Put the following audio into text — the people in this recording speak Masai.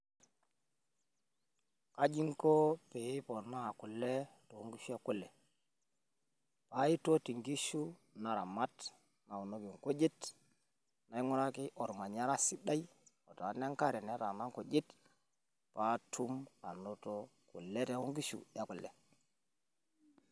Kaji inko pii iponaa kule too nkishu e kule? kaitoti inkishu naramat nawunoki inkujit nainguraki olmanyara sidai otaana enkare netaaana inkujit patuum anoto kule toonkishu ookule